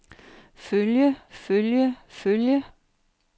følge følge følge